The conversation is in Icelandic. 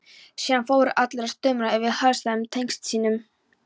Síðan fóru allir að stumra yfir helsærðum tengdasyninum.